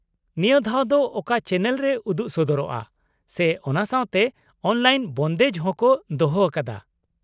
ᱱᱤᱭᱟᱹ ᱫᱷᱟᱣ ᱫᱚ ᱚᱠᱟ ᱪᱮᱱᱮᱞ ᱨᱮ ᱩᱫᱩᱜ ᱥᱚᱫᱚᱨᱚᱜᱼᱟ ᱥᱮ ᱚᱱᱟ ᱥᱟᱶᱛᱮ ᱚᱱᱞᱟᱤᱱ ᱵᱚᱱᱫᱮᱡ ᱦᱚᱸ ᱠᱚ ᱫᱚᱦᱚ ᱟᱠᱟᱫᱟ ?